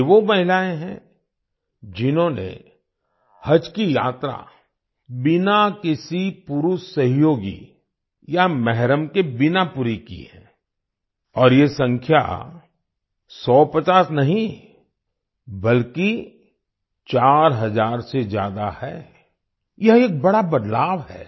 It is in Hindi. ये वो महिलाएं हैं जिन्होंने हज की यात्रा बिना किसी पुरुष सहयोगी या मेहरम के बिना पूरी की है और ये संख्या सौपचास नहीं बल्कि 4 हज़ार से ज्यादा है यह एक बड़ा बदलाव है